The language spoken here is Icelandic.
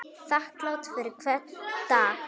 Þakklát fyrir hvern dag.